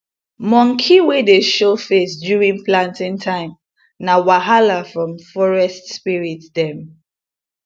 monkey wey dey show face during planting time na wahala from forest spirit dem